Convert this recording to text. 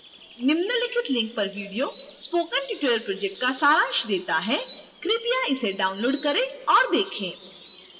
निम्नलिखित link पर video spoken tutorial project का सारांश देता है